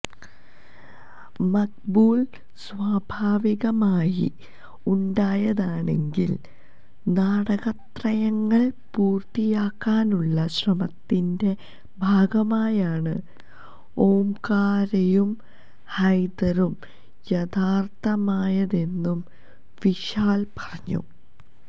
മക്ബൂല് സ്വാഭാവികമായി ഉണ്ടായതാണെങ്കില് നാടകത്രയങ്ങള് പൂര്ത്തിയാക്കാനുള്ള ശ്രമത്തിന്റെ ഭാഗമായാണ് ഓംകാരയും ഹൈദറും യാഥാര്ത്ഥ്യമായതെന്നും വിശാല് പറഞ്ഞു